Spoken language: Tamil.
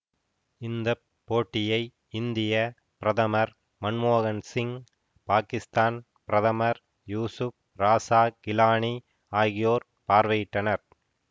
இந்த போட்டியை இந்திய பிரதமர் மன்மோகன் சிங் பாகிஸ்தான் பிரதமர் யூசுப் ராசா கிலானி ஆகியோர் பார்வையிட்டனர்